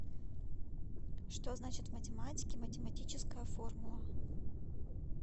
что значит в математике математическая формула